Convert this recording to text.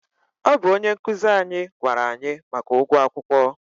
ọ bụ onye nkụzi anyị gwara anyị maka ụgwọ akwụkwọ.